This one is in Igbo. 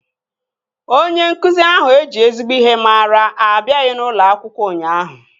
Onye nkụzi ahụ eji ezigbo ihe mara abịaghị n'ulo akwụkwọ ụnyaahụ